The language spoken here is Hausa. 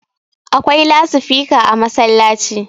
akwai lasifika a masallaci